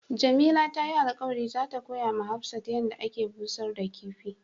Jamila ta yi alkawali za ta koya ma Hafsat yan da ake bushar da kifi.